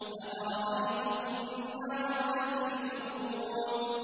أَفَرَأَيْتُمُ النَّارَ الَّتِي تُورُونَ